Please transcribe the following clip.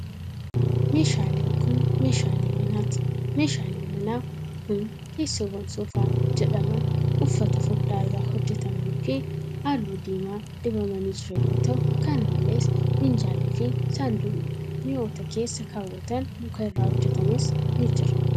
Meeshaaleen kun, meeshaalee manaati. Meeshaaleen manaa kun, teessoowwan soofaa jedhaman uffata furdaa irraa hojjatamanii fi haalluu diimaa dibamanii jiran yoo ta'u, kana malees minjaalli fi saanduqni mi'oota keessa kaawwatan muka irraa hojjatames ni jira.